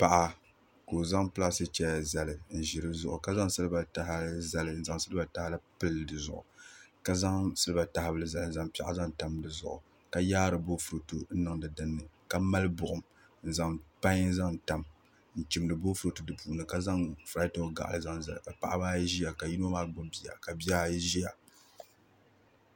Paɣa ka o zaŋ plastic chɛya zali n ʒi di zuɣu ka zaŋ silba tahali zali n zaŋ silba tahali pili dizuɣu ka zaŋ silba tahali zali n zaŋ piɛɣu zaŋ tam di zuɣu ka yaari boofurooto n niŋdi dinni ka mali buɣum n zaŋ pai zaŋ tam n chimdi boofurooto di puuni ka zaŋ zaŋ furaitoŋ gaɣali zaŋ zali ka Paɣaba ayi ʒiya ka yino maa gbubi bia ka bihi ayi ʒiya